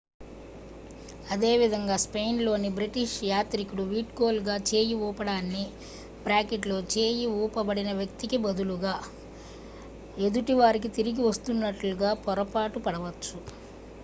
అదేవిధంగా స్పెయిన్లోని బ్రిటిష్ యాత్రికుడు వీడ్కోలుగా చేయి ఊపడాన్ని చేయి ఊపబడిన వ్యక్తికి బదులుగా ఎదుటి వారికి తిరిగి వస్తున్నట్లుగా పొరపాటు పడవచ్చు